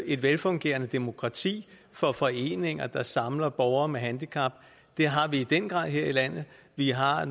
et velfungerende demokrati for foreninger der samler borgere med handicap det har vi i den grad her i landet vi har